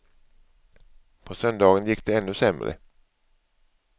På söndagen gick det ännu sämre.